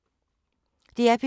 DR P2